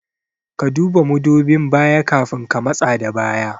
Ka duba mudubin baya kafin ka matsa da baya